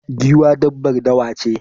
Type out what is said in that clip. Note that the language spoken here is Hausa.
Giwa dabbar dawa ce